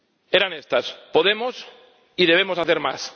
Eran estas Podemos y debemos hacer más.